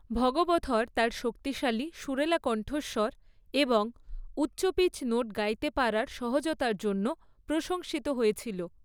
ভগবথর তার শক্তিশালী, সুরেলা কন্ঠস্বর এবং উচ্চ পিচ নোট গাইতে পারার সহজতার জন্য প্রশংসিত হয়েছিল।